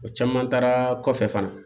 O caman taara kɔfɛ fana